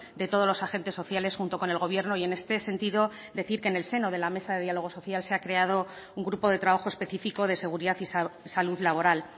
de todos los agentes sociales junto con el gobierno y en este sentido decir que en el seno de la mesa de diálogo social se ha creado un grupo de trabajo específico de seguridad y salud laboral